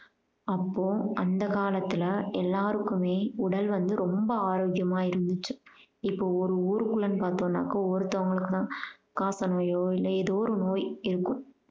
அப்போ அந்த காலத்துல எல்லாருக்குமே உடல் வந்து ரொம்ப ஆரோக்கியமா இருந்துச்சு. இப்போ ஒரு ஊருக்குள்ளன்னு பார்த்தோம்னாக்க ஒருத்தவங்களுக்கு தான் காச நோயோ இல்ல எதோ ஒரு நோய் இருக்கும்